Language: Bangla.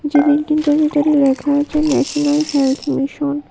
যে বিল্ডিংটার ভিতরে লেখা আছে ন্যাশনাল হেলথ মিশন ।